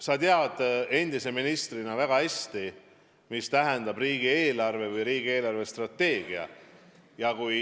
Sa tead endise ministrina väga hästi, mida tähendab riigieelarve, mida tähendab riigi eelarvestrateegia.